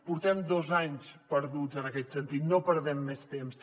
portem dos anys perduts en aquest sentit no perdem més temps